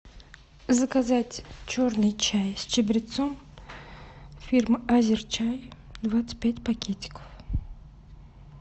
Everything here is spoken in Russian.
заказать черный чай с чабрецом фирмы азерчай двадцать пять пакетиков